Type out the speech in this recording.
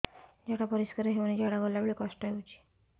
ଝାଡା ପରିସ୍କାର ହେଉନି ଝାଡ଼ା ଗଲା ବେଳେ କଷ୍ଟ ହେଉଚି